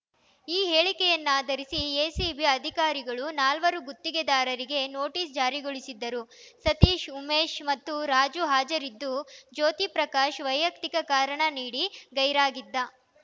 ಈ ಹೇಳಿಕೆಯನ್ನಾಧರಿಸಿ ಎಸಿಬಿ ಅಧಿಕಾರಿಗಳು ನಾಲ್ವರು ಗುತ್ತಿಗೆದಾರರಿಗೆ ನೊಟೀಸ್‌ ಜಾರಿಗೊಳಿಸಿದ್ದರು ಸತೀಶ್‌ ಉಮೇಶ್‌ ಮತ್ತು ರಾಜು ಹಾಜರಿದ್ದು ಜ್ಯೋತಿ ಪ್ರಕಾಶ್‌ ವೈಯಕ್ತಿಕ ಕಾರಣ ನೀಡಿ ಗೈರಾಗಿದ್ದ